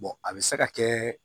a bɛ se ka kɛ